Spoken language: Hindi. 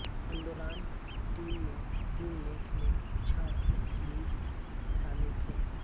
अंडोराण टीम में तीन खेल में छह एथलीट शामिल थे